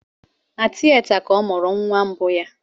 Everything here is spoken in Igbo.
Na tieta ka ọ mụrụ nwa mbụ nwa